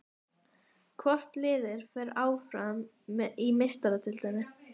Hvort liðið fer áfram í Meistaradeildinni?